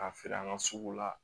K'a feere an ka sugu la